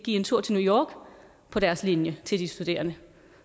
en tur til new york på deres linje til de studerende